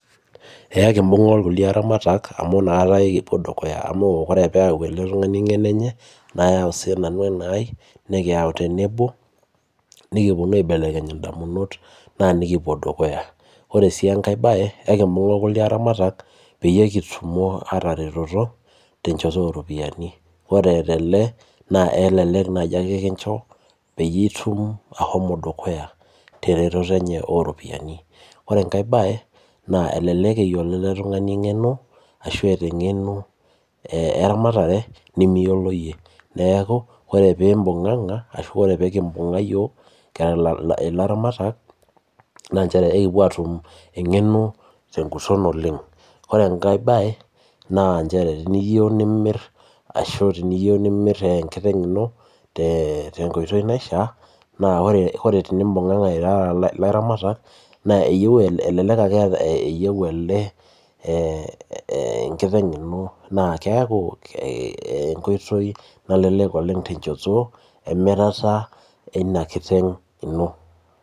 Ee ekibung's irkulie aramata amu inakata ake ekipuo dukuya, ore pee eyau ele tungani eng'eno enye. nayau sii nanu enai nikiyau tenebo, nikupuonu aibelekeny idamunot naa nikipuo dukuya. ore sii enkae baye ekibung'a olkulie aramatak peyie kitumo aataretoro te nchoto ooropiyiani. ore tele naa elelek naaji ake kincho peyie itum, ashomo dukuya teretoto eney oo ropiyiani ore enkae bae. naa elelek eyiolo ele tungani eng'eno ashu eet engeno, eramatare nimiyiolo iyie. neeku ore pee kibunga iyiook kira ilaramatak naa nchere ekipuo aatum eng'eno teguton oleng. ore enkae bae teniyieu nimir ashu, niyieu nimir enkiteng' ino tenkoitoi naishaa. naa ore tenibunganga irara ilaramatak elelek ake ete elde enkiteng' ino. keeku enkoitoi oleng malelek temirata enkiteng' ino.